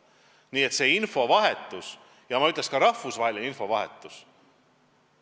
Nii et infovahetus, ütleksin ka, rahvusvaheline infovahetus on tähtis.